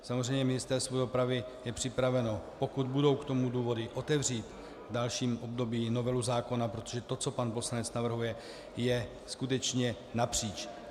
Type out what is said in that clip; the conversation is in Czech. Samozřejmě Ministerstvo dopravy je připraveno, pokud budou k tomu důvody, otevřít v dalším období novelu zákona, protože to, co pan poslanec navrhuje, je skutečně napříč.